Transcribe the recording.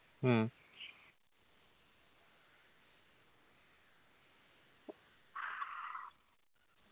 മ്മ്